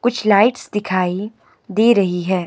कुछ लाइट्स दिखाई दे रही है।